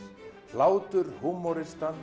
hlátur